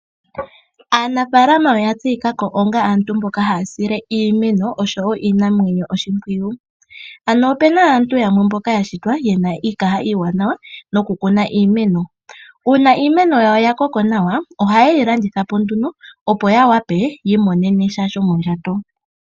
Aanafaalama oya tseyikako onga aantu mboka haya sile iimeno osho wo iinamwenyo oshimpwiyu. Ano opuna aantu yamwe mboka yashitwa yena iikaha iiwanawa noku kuna iimeno, uuna iimeno yawo yakoko nawa oha ye yilandithapo nduno opo ya wape yiimonenesha shomondjato.